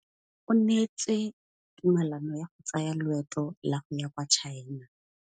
O neetswe tumalanô ya go tsaya loetô la go ya kwa China.